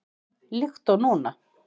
Líkt og núna.